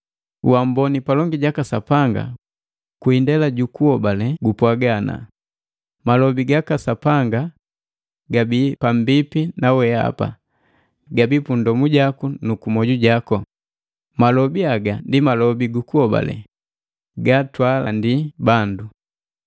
Uamboni palongi jaka Sapanga kwi indela jukuhobale gupwaga ana, “Malobi gaka Sapanga gabi pambipi na weapa, gabii pundomu jaku nu kumwoju jaku.” Malobi haga ndi malobi gukuhobale gatwaalandi bandu.